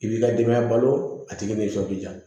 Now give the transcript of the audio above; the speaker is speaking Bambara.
I b'i ka denbaya balo a tigi bɛ jɔ i bɛ ja